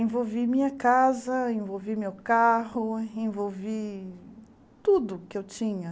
Envolvi minha casa, envolvi meu carro, envolvi tudo que eu tinha.